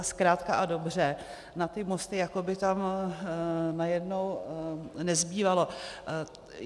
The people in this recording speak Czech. A zkrátka a dobře na ty mosty jako by tam najednou nezbývalo.